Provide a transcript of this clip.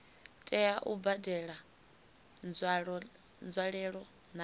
tea u badela nzwalelo na